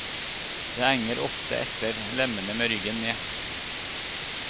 De henger ofte etter lemmene med ryggen ned.